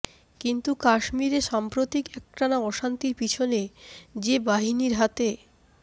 কিন্তু কাশ্মীরে সাম্প্রতিক একটানা অশান্তির পিছনে যে বাহিনীর হাতে